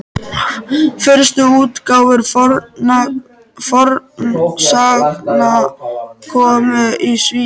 Fyrstu útgáfur fornsagnanna komu í Svíþjóð á seinna hluta